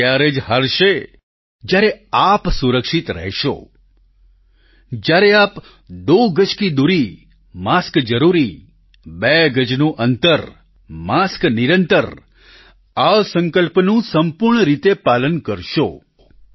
corona ત્યારે જ હારશે જ્યારે આપ સુરક્ષિત રહેશો જ્યારે આપ દો ગજકી દૂરી માસ્ક જરૂરી બે ગજનું અંતર માસ્ક નિરંતર આ સંકલ્પનું સંપૂર્ણ રીતે પાલન કરશો